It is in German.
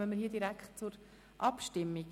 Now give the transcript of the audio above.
Dann kommen wir hier direkt zur Abstimmung.